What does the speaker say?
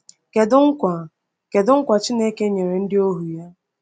Kedu nkwa Kedu nkwa Chineke nyere ndị ohu ya?